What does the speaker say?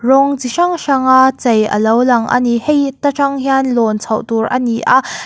rawng chi hrang hrang a chei alo lang ani hei ta tang hian lawn chhoh tur ani a.